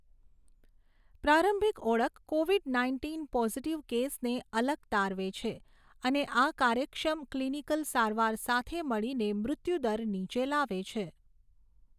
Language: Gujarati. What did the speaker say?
પ્રારંભિક ઓળખ કોવિડ નાઇન્ટીન પોઝિટીવ કેસને અલગ તારવે છે અને આ કાર્યક્ષમ ક્લિનિકલ સારવાર સાથે મળીને મૃત્યુદર નીચે લાવે છે.